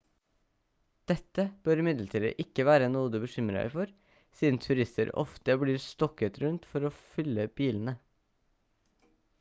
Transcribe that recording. dette bør imidlertid ikke være noe du bekymrer deg for siden turister ofte blir stokket rundt for å fylle bilene